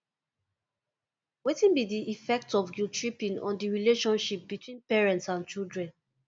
wetin be di affect of guilttripping on di relationship between parents and children